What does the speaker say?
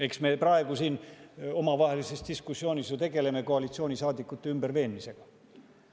Eks me praegu siin omavahelises diskussioonis ju tegelemegi koalitsioonisaadikute ümberveenmisega.